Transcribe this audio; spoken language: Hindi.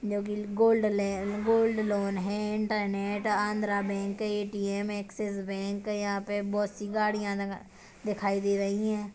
जो कि gold loan-- gold loan gold loan है इंटरनेट है Andhra bank ATM Axis bank यहाँ पे बहुत -सी गड़ियाँ लगा-- दिखाई दे रही है।